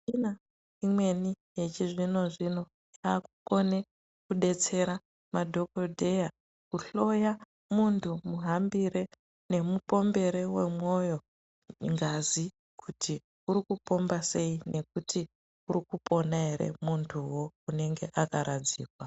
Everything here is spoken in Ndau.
Mishina imweni echi zvino zvino yakukone kudetsera madhokodheya ,kuhloya munhtu muhambire nemupombere wemwoyo ngazi kuti urikupomba sei ,nekuti urikupona ere munthuwo unenge akaradzikwa.